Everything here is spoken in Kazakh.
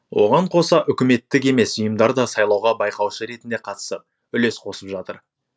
оған қоса үкіметтік емес ұйымдар да сайлауға байқаушы ретінде қатысып үлес қосып жатыр